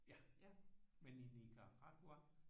Ja men i Nicaragua